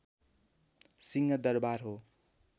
सिंहदरवार हो